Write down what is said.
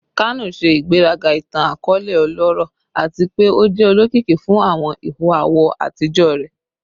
Kano ṣe igberaga itan-akọọlẹ ọlọrọ ati pe o jẹ olokiki fun awọn iho awọ atijọ rẹ